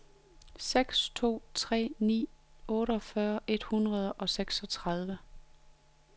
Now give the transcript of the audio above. seks to tre ni otteogfyrre et hundrede og seksogtredive